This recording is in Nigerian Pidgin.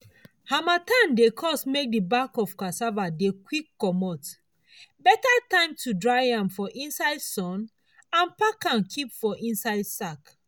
harmattan dey cause make the back of cassava dey quick commot—better time to dry am for inside sun and pack am keep for inside sack.